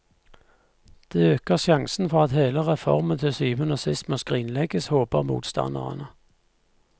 Det øker sjansene for at hele reformen til syvende og sist må skrinlegges, håper motstanderne.